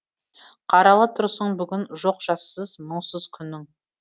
қаралы тұрсың бүгін жоқ жассыз мұңсыз күнің